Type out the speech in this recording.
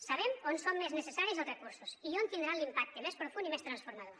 sabem on són més necessaris els recursos i on tindran l’impacte més profund i més transformador